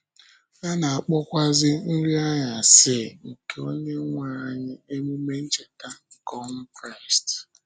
A na-akpọkwa Nrị Anyasị nke Onyenwe anyị Emume Ncheta nke ọnwụ Kraịst.